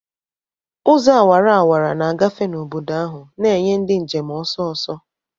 Ụzọ awara awara na-agafe n'obodo ahụ, na-enye ndị njem ọsọ ọsọ.